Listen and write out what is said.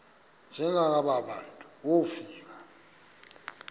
njengaba bantu wofika